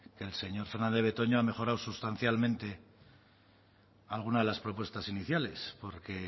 el señor fernandez de betoño ha mejorado sustancialmente alguna de las propuestas iniciales porque